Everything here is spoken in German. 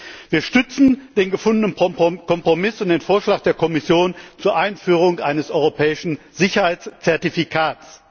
Wir unterstützen den gefundenen Kompromiss und den Vorschlag der Kommission zur Einführung eines europäischen Sicherheitszertifikats.